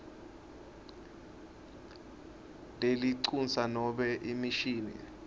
lelincusa nobe imishini